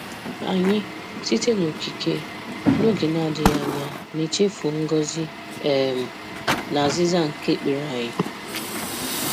Anyị, site n'okike, n'oge na-adịghị anya na-echefu ngọzi um na azịza nke ekpere anyị.